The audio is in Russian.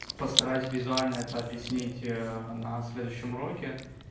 постараюсь визуально это объяснить на следующем уроке